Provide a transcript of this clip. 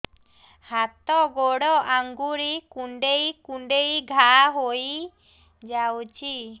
ହାତ ଗୋଡ଼ ଆଂଗୁଳି କୁଂଡେଇ କୁଂଡେଇ ଘାଆ ହୋଇଯାଉଛି